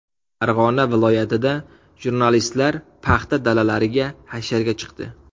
Farg‘ona viloyatida jurnalistlar paxta dalalariga hasharga chiqdi.